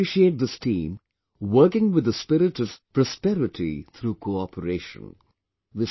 I appreciate this team working with the spirit of 'prosperity through cooperation'